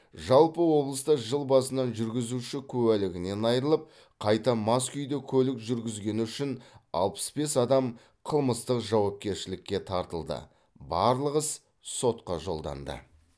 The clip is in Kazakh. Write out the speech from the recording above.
жалпы облыста жыл басынан жүргізуші куәлігінен айырылып қайта мас күйде көлік жүргізгені үшін алпыс бес адам қылмыстық жауапкершілікке тартылды барлық іс сотқа жолданды